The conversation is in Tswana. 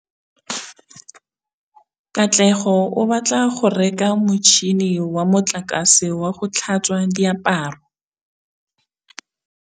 Katlego o batla go reka motšhine wa motlakase wa go tlhatswa diaparo.